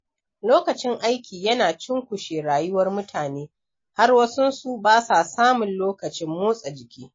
Lokacin aiki yana cunkushe rayuwar mutane, har wasun su ba sa samun lokacin motsa jiki.